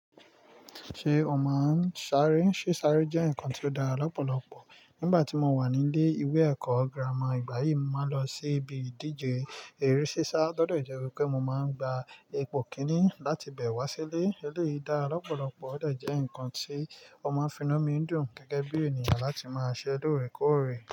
Ṣé o máa ń sáré? Ṣé sáré jẹ́ nǹkan tó dára lọ́pọ̀lọpọ̀. Nígbà tí mo wà nílé ìwé ẹ̀kọ́ girama ìgbà yìí, mo máa ń lọ sí ibi ìdíje eré sísá. Ó tódẹ̀ jẹ́ wípé mo máa ń gba ipò kíní láti bẹ̀ wá sílé. Eléyìí dára lọ́pọ̀lọpọ̀, ó dẹ̀ jẹ́ ǹkan tí ọmọ finúmí dùn gẹ́gẹ́ bí ènìyàn láti máa ṣẹ́ lóore kóòre.